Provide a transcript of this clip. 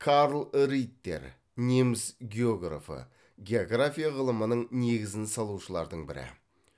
карл риттер неміс географы география ғылымының негізін салушылардың бірі